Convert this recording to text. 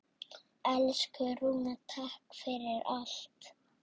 Elsku Rúna, takk fyrir allt.